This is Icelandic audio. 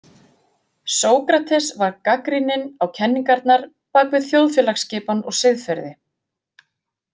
Sókrates var gagnrýninn á kenningarnar bakvið þjóðfélagsskipan og siðferði.